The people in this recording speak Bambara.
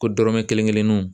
Ko dɔrɔmɛ kelen kelenninw